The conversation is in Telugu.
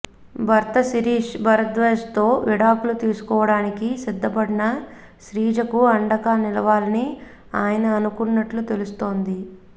భర్త శిరీష్ భరద్వాజ్తో విడాకులు తీసుకోవడానికి సిద్ధపడిన శ్రీజకు అండగా నిలవాలని ఆయన అనుకుంటున్నట్లు తెలుస్తోంది